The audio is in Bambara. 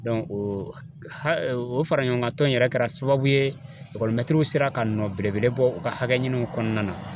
o fara ɲɔgɔnkan tɔn in yɛrɛ kɛra sababu ye sera ka nɔ belebele bɔ u ka hakɛ ɲiniw kɔnɔna na.